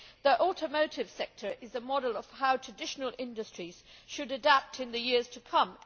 The automotive sector is a model of how traditional industries should adapt in the years to come.